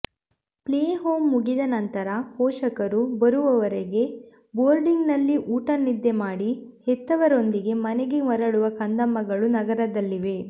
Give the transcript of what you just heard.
play home ಮುಗಿದ ನಂತರ ಪೋಷಕರು ಬರುವವರೆಗೆ ಬೋರ್ಡಿಂಗ್ನಲ್ಲಿ ಊಟ ನಿದ್ದೆ ಮಾಡಿ ಹೆತ್ತವರೊಂದಿಗೆ ಮನೆಗೆ ಮರಳುವ ಕಂದಮ್ಮಗಳು ನಗರದಲ್ಲಿವೆ